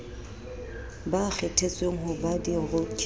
ba kgethetsweng ho ba diroki